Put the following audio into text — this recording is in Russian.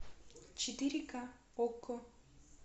четыре ка окко